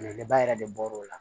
Ne ba yɛrɛ de bɔr'o la